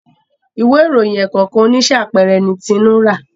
Ìwé ìròyìn ẹ̀ẹ̀kọ̀kan oníṣe àpẹẹrẹ ní Tinu rá.